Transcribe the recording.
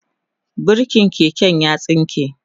burkin keken ya tsinke